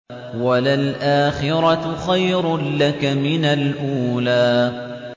وَلَلْآخِرَةُ خَيْرٌ لَّكَ مِنَ الْأُولَىٰ